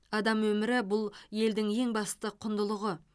адам өмірі бұл елдің ең басты құндылығы